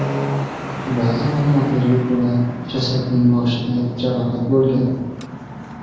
Ba’zi ma’lumotlarga ko‘ra, jasadning boshida jarohat bo‘lgan.